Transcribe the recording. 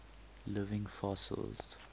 living fossils